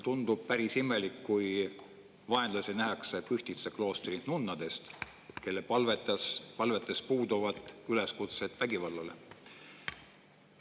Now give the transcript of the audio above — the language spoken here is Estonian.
Tundub päris imelik, kui vaenlasi nähakse Pühtitsa kloostri nunnades, kelle palvetes puuduvad üleskutsed vägivallale.